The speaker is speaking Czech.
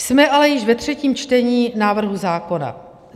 Jsme ale již ve třetím čtení návrhu zákona.